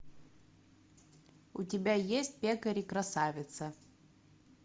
у тебя есть пекарь и красавица